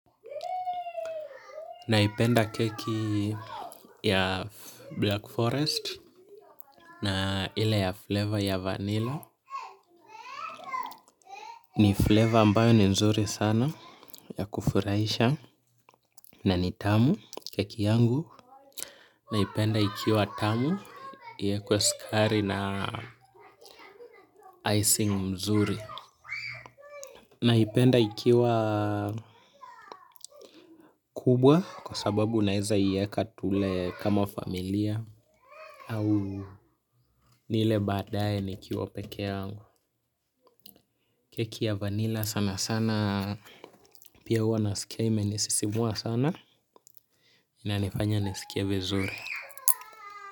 Naipenda keki ya Black Forest na ile ya flavor ya vanilla. Ni flavour ambayo ni nzuri sana ya kufurahisha na ni tamu sana keki yangu. Naipenda ikiwa tamu. Iwekwe sukari na icing mzuri. Naipenda ikiwa kubwa kwa sababu naeza iyeka tule kama familia. Au nile badaye nikiwa peke yangu. Keki ya vanilla sana sana pia huwa nasikia imenisisimua sana inanifanya nisikie vizuri.